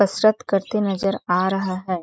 कसरत करते नजर आ रहा हैं ।